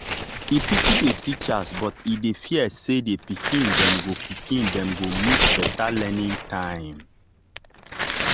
e pity the teachers but e dey fear say the pikin dem go pikin dem go miss better learning time.